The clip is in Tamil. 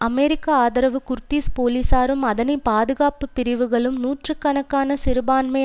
அமெரிக்க ஆதரவு குர்திஸ் போலீஸாரும் அதனை பாதுகாப்பு பிரிவுகளும் நூற்று கணக்கான சிறுபான்மை